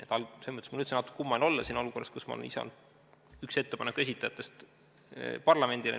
Selles mõttes on mul üldse natukene kummaline olla siin olukorras, kus ma olen ise olnud üks ettepaneku esitajatest parlamendile.